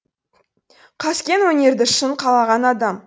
қаскең өнерді шын қалаған адам